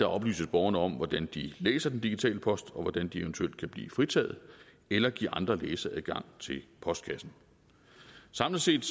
oplyses borgerne om hvordan de læser den digitale post og hvordan de eventuelt kan blive fritaget eller give andre læseadgang til postkassen samlet set